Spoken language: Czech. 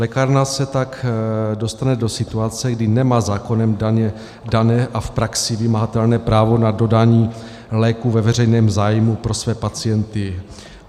Lékárna se tak dostane do situace, kdy nemá zákonem dané a v praxi vymahatelné právo na dodání léku ve veřejném zájmu pro své pacienty.